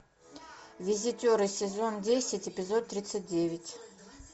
визитеры сезон десять эпизод тридцать девять